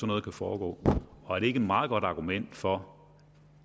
noget kan foregå og er det ikke et meget godt argument for